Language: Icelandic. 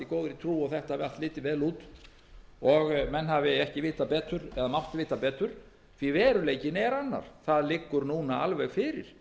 góðri trú og þetta hafi allt litið vel út menn hafi ekki vitað betur eða mátt vita betur því að veruleikinn er annar það liggur núna alveg fyrir